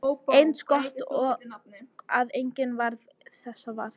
Eins gott að enginn varð þess var!